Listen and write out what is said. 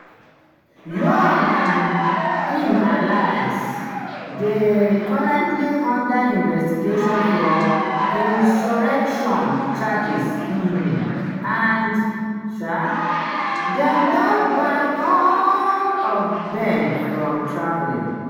yoon and im allies dey currently under investigation for insurrection charges um and um dem don ban all of dem from travelling.